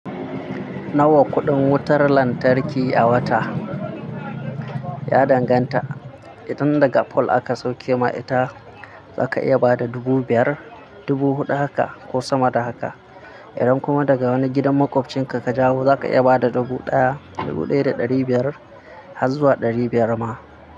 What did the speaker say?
Nawa kuɗin wutar lantarki a wata? Ya danganta, idan daga pole aka sauke ma ita za ka iya bada dubu biyar, dubu huɗu haka ko sama da haka. Idan kuma daga wani gidan maƙwabcin ka ka jawo, za ka iya bada dubu ɗaya, dubu ɗaya da ɗari biyar har zuwa ɗari biyar ma.